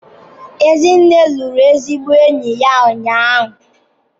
Ezinne lụrụ ezigbo enyi ya ụnyahụ.